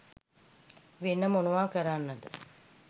වෙන මොනව කරන්නද